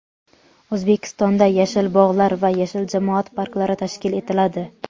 O‘zbekistonda "Yashil bog‘lar" va "Yashil jamoat parklari" tashkil etiladi.